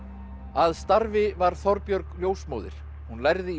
að starfi var Þorbjörg ljósmóðir hún lærði í